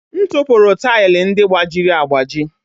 M tụpụrụ taịlị ndị gbajiri agbaji.